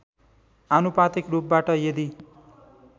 आनुपातिक रूपबाट यदि